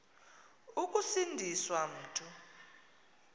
ukusindi swa mntu